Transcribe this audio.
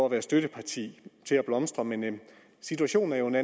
at være støtteparti til at blomstre men situationen er jo nu